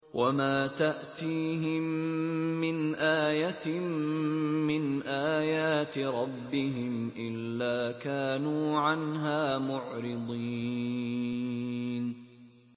وَمَا تَأْتِيهِم مِّنْ آيَةٍ مِّنْ آيَاتِ رَبِّهِمْ إِلَّا كَانُوا عَنْهَا مُعْرِضِينَ